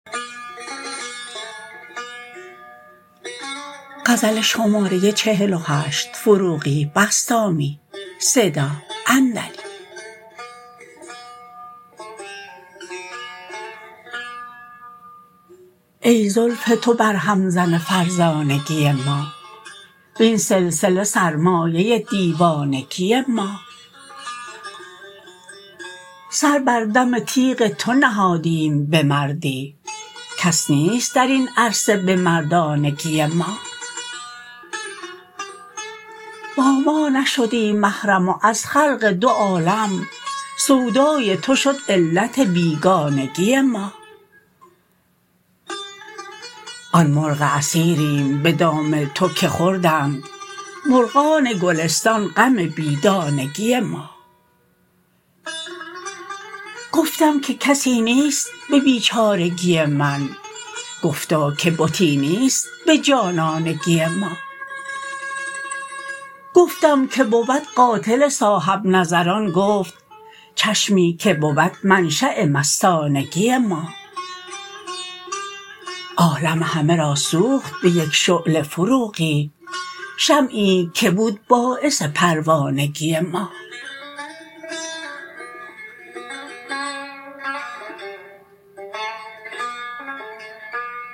ای زلف تو بر هم زن فرزانگی ما وین سلسله سرمایه دیوانگی ما سر بر دم تیغ تو نهادیم به مردی کس نیست درین عرصه به مردانگی ما با ما نشدی محرم و از خلق دو عالم سودای تو شد علت بیگانگی ما آن مرغ اسیریم به دام تو که خوردند مرغان گلستان غم بی دانگی ما گفتم که کسی نیست به بیچارگی من گفتا که بتی نیست به جانانگی ما گفتم که بود قاتل صاحب نظران گفت چشمی که بود منشا مستانگی ما عالم همه را سوخت به یک شعله فروغی شمعی که بود باعث پروانگی ما